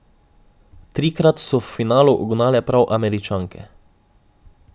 Trikrat so v finalu ugnale prav Američanke.